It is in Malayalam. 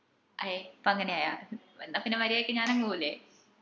അയെ ഇപ്പൊ അങ്ങനെയായ എന്ന പിന്നെ മരിയാദിക്ക് ഞാൻ അംങ് പോവ്വുല്ലേ